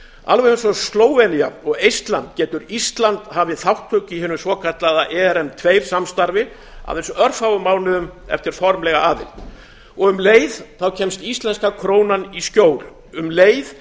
alveg eins og slóvenía og eistland getur ísland hafið þátttöku í hinu svokallaða erm tvö samstarfi aðeins örfáum mánuðum eftir formlega aðild um leið kemst íslenskra krónan í skjól um leið